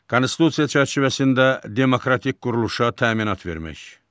Konstitusiya çərçivəsində demokratik quruluşa təminat vermək.